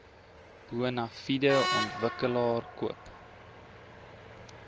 bonafide ontwikkelaar koop